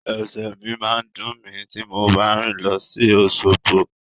Ẹsẹ̀ mi máa dùn mí ti mo bá rìn lọ sí Òṣogbo.